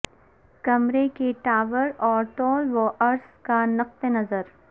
کمرے کے ٹاور اور طول و عرض کا نقطہ نظر